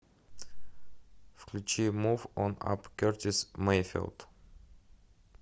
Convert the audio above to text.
включи мув он ап кертис мэйфилд